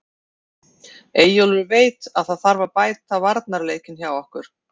Eyjólfur veit að það þarf að bæta varnarleikinn hjá okkur.